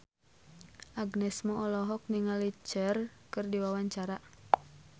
Agnes Mo olohok ningali Cher keur diwawancara